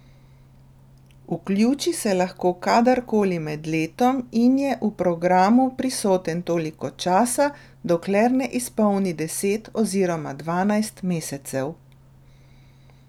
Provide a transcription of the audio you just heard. Vključi se lahko kadarkoli med letom in je v programu prisoten toliko časa, dokler ne izpolni deset oziroma dvanajst mesecev.